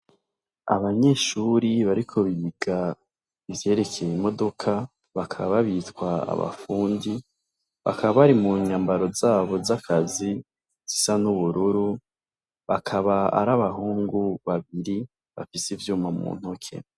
Abanyeshure bariko biga ivyerekeye imodoka bakaba babitwa abafundi, bakaba bari munyambaro zabo zakazi zisa n'ubururu bakaba arabahungu babiri bafise ivyuma mu ntoke.